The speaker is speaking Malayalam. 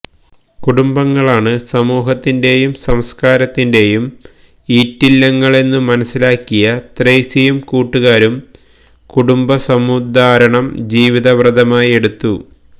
കുടുംബങ്ങളാണ് സമൂഹത്തിന്റെയും സംസ്കാരത്തിന്റെയും ഈറ്റില്ലങ്ങളെന്നു മനസ്സിലാക്കിയ ത്രേസ്യയും കൂട്ടുകാരും കുടുംബ സമുദ്ധാരണം ജീവിതവ്രതമായെടുത്തു